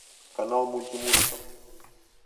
канал мультимузыка